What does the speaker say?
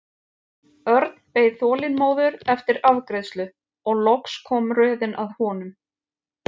Örn beið þolinmóður eftir afgreiðslu og loks kom röðin að honum.